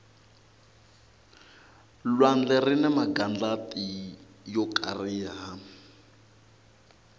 lwandle rini magandlati yo kariha